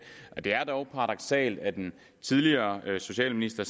det er dog paradoksalt at den tidligere socialminister